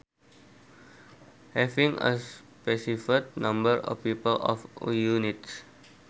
Having a specified number of people or units